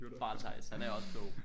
Bare Theis han er også klog